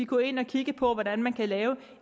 gå ind og kigge på hvordan man kan lave